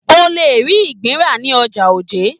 O le ri ìgbín ra ní ọjà Oje.